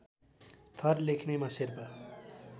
थर लेख्नेमा शेर्पा